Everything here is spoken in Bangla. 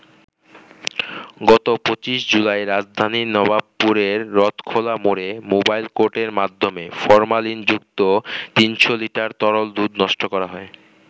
গত ২৫ জুলাই রাজধানীর নবাবপুরের রথখোলা মোড়ে মোবাইল কোর্টের মাধ্যমে ফরমালিনযুক্ত ৩০০ লিটার তরল দুধ নষ্ট করা হয়।